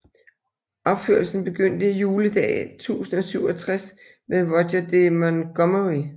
Opførelsen begyndte juledag 1067 ved Roger de Montgomery